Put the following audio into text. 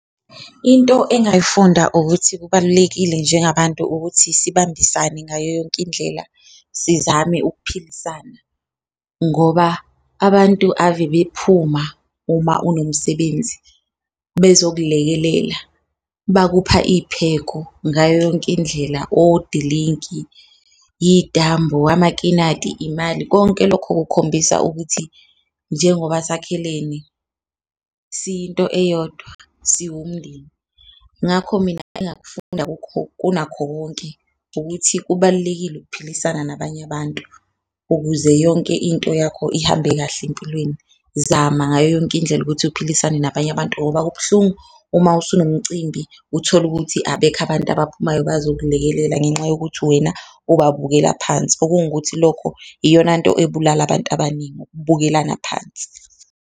Into engayifunda ukuthi kubalulekile njengabantu ukuthi sibambisane ngayo yonke indlela sizame ukuphilisana, ngoba abantu ave bephuma uma unomsebenzi bezokulekelela. Bakupha iyipheko ngayo yonke indlela, odilinki, iyitambu, amakinati, imali konke lokho kukhombisa ukuthi njengoba sakhelene siyinto eyodwa, siwumndeni ngakho mina engakufunda kunakho konke ukuthi kubalulekile ukuphilisana nabanye abantu ukuze yonke into yakho ihambe kahle empilweni. Zama ngayo yonke indlela ukuthi uphilisane nabanye abantu ngoba kubuhlungu uma usunomcimbi utholukuthi abekho abantu abaphumayo bazokulekelela ngenxa yokuthi wena ababukela phansi. Okungukuthi lokho iyonanto ebulala abantu abaningi ukubukelana phansi.